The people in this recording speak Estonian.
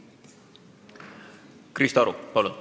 Krista Aru, palun!